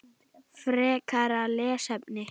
Frekara lesefni